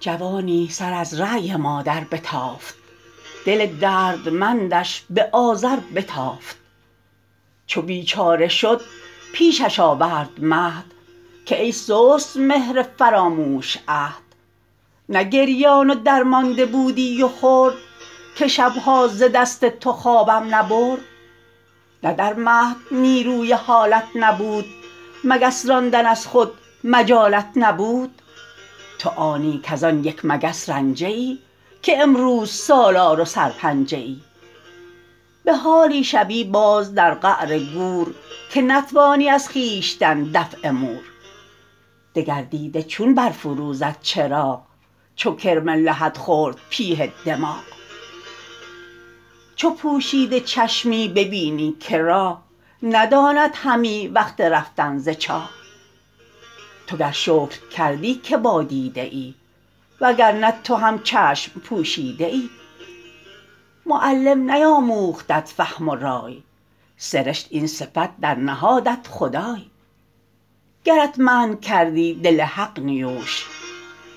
جوانی سر از رای مادر بتافت دل دردمندش به آذر بتافت چو بیچاره شد پیشش آورد مهد که ای سست مهر فراموش عهد نه گریان و درمانده بودی و خرد که شبها ز دست تو خوابم نبرد نه در مهد نیروی حالت نبود مگس راندن از خود مجالت نبود تو آنی کز آن یک مگس رنجه ای که امروز سالار و سرپنجه ای به حالی شوی باز در قعر گور که نتوانی از خویشتن دفع مور دگر دیده چون برفروزد چراغ چو کرم لحد خورد پیه دماغ چو پوشیده چشمی ببینی که راه نداند همی وقت رفتن ز چاه تو گر شکر کردی که با دیده ای وگر نه تو هم چشم پوشیده ای معلم نیاموختت فهم و رای سرشت این صفت در نهادت خدای گرت منع کردی دل حق نیوش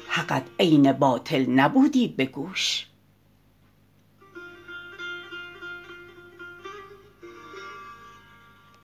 حقت عین باطل نبودی به گوش